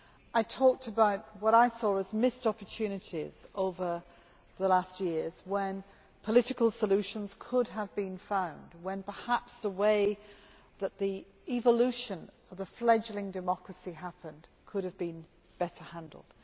I talked about what I saw as missed opportunities over the last years when political solutions could have been found and when perhaps the way that the evolution of the fledging democracy happened could have been better handled.